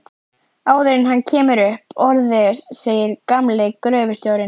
Áður en hann kemur upp orði segir gamli gröfustjórinn